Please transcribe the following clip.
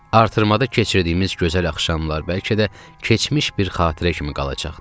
Artırmada keçirdiyimiz gözəl axşamlar bəlkə də keçmiş bir xatirə kimi qalacaqdı.